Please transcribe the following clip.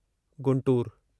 Guntur